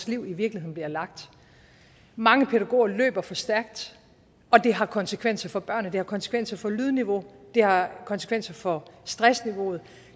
liv i virkeligheden bliver lagt mange pædagoger løber for stærkt og det har konsekvenser for børnene det har konsekvenser for lydniveauet det har konsekvenser for stressniveauet